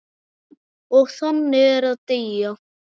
Og þannig er að deyja.